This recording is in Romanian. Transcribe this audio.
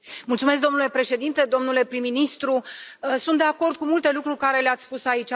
Domnule Președinte, domnule prim ministru, sunt de acord cu multe lucruri pe care le ați spus aici.